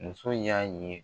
Muso y'a ye.